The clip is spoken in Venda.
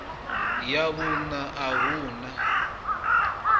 ya vhuṋa a hu na